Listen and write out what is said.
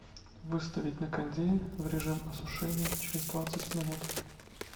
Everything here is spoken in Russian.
выставить на кондее в режим осушения через двадцать минут